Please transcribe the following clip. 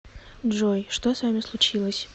джой что с вами случилось